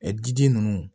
Ɛ diden ninnu